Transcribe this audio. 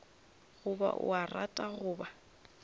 goba o a rata goba